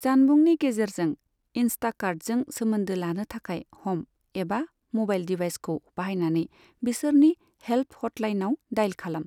जानबुंनि गेजेरजों इनस्टाकार्टजों सोमोन्दो लानो थाखाय, ह'म एबा म'बाइल डिभाइसखौ बाहायनानै बिसोरनि हेल्प हटलाइनाव डायेल खालाम।